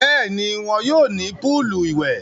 Bẹ́ẹ̀ni, wọn yóò ní púùlù ìwẹ̀.